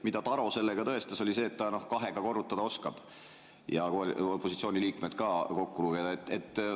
Mida Taro sellega tõestas, oli see, et ta oskab kahega korrutada ja opositsiooni liikmeid ka kokku lugeda.